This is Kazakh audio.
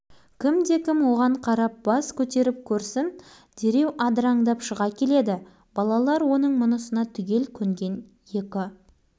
басқаны білмейді қуаныштың көз жасын бауыржан көріп қалды жүрегі дір ете түсті бүкіл сыныптың көзінше жолдасына